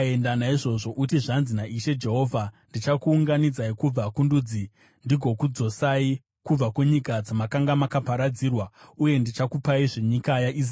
“Naizvozvo uti, ‘Zvanzi naIshe Jehovha: Ndichakuunganidzai kubva kundudzi ndigokudzosai kubva kunyika dzamakanga makaparadzirwa uye ndichakupaizve nyika yaIsraeri.’